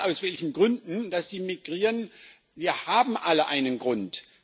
Egal, aus welchen Gründen sie migrieren, sie haben alle einen Grund.